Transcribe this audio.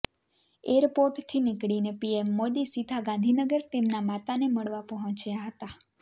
એરપોર્ટથી નીકળીને પીએમ મોદી સીધા ગાંધીનગર તેમના માતાને મળવા પહોંચ્યા હતા